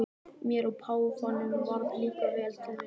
Mér og páfanum varð líka vel til vina.